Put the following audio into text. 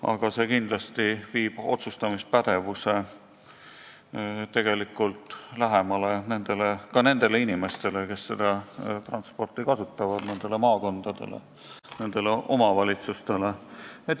Aga see kindlasti viib otsustamispädevuse lähemale ka nendele inimestele, kes seda transporti kasutavad, nendele maakondadele, nendele omavalitsustele.